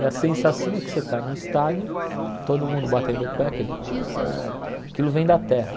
E a sensação é que você está num estádio, todo mundo batendo o pé, aquele êêêêê aquilo vem da terra.